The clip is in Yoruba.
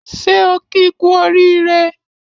Ṣé o ki ku oriire